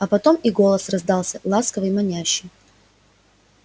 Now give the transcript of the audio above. а потом и голос раздался ласковый манящий